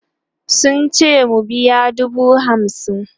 sun ce mu biya dubu hamsin